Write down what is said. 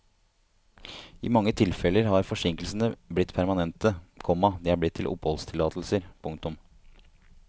I mange tilfeller har forsinkelsene blitt permanente, komma de er blitt til oppholdstillatelser. punktum